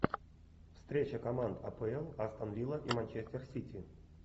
встреча команд апл астон вилла и манчестер сити